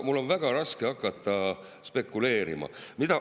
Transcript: Mul on väga raske hakata spekuleerima.